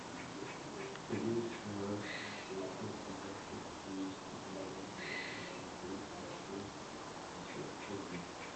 плюс ноль семьсот одиннадцать двести девяносто восемь тридцать шесть пятьдесят один